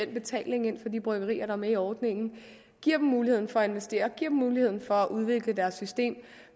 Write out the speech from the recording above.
betaling ind fra de bryggerier der er med i ordningen giver dem muligheden for at investere og giver dem muligheden for at udvikle deres system